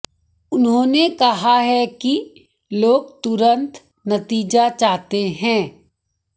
उन्होंने कहा है कि लोग तुरंत नतीजा चाहते हैं